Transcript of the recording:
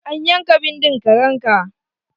An yanka bindin karen ka?